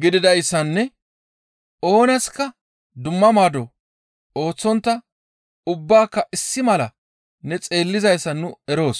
gididayssanne oonaska dumma maado ooththontta ubbaaka issi mala ne xeellizayssa nu eroos.